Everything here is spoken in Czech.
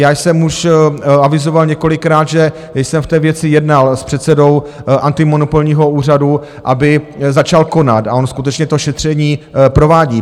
Já jsem už avizoval několikrát, že jsem v té věci jednal s předsedou antimonopolního úřadu, aby začal konat, a on skutečně to šetření provádí.